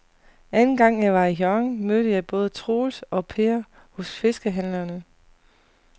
Anden gang jeg var i Hjørring, mødte jeg både Troels og Per hos fiskehandlerne.